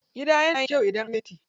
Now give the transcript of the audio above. Gida yana yin kyau idan anyo fenti.